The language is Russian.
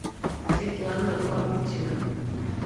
светлана лабутина